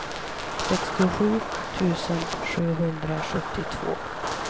sextiosju tusen sexhundrasjuttiotvå